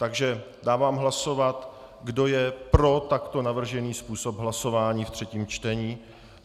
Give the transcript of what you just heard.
Takže dávám hlasovat, kdo je pro takto navržený způsob hlasování ve třetím čtení.